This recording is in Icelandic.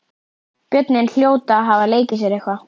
Börnin hljóta að hafa leikið sér eitthvað.